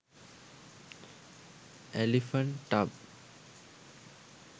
elephant tub